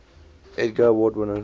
edgar award winners